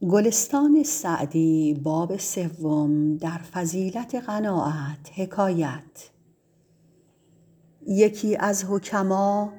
یکی از حکما